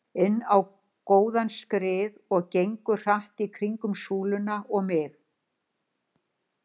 inn á góðan skrið og gengur hratt í kringum súluna og mig.